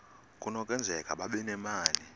kunokwenzeka babe nemali